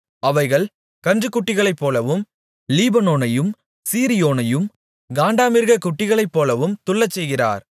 அவைகளைக் கன்றுக்குட்டிகளைப்போலவும் லீபனோனையும் சீரியோனையும் காண்டாமிருகக் குட்டிகளைப்போலவும் துள்ளச்செய்கிறார்